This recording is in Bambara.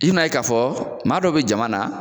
I n'a ye ka fɔ maa dɔ be jama na